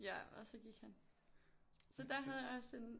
Ja og så gik han så der havde jeg også en